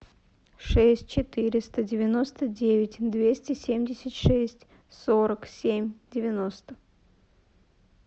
шесть четыреста девяносто девять двести семьдесят шесть сорок семь девяносто